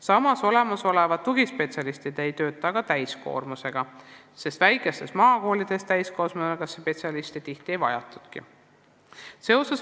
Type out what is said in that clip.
Samas ei tööta olemasolevad tugispetsialistid täiskoormusega, sest väikestes maakoolides täiskohaga spetsialiste ei vajatagi.